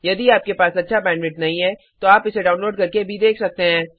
यदि आपके पास अच्छा बैंडविड्थ नहीं है तो आप इसे डाउनलोड करके देख सकते हैं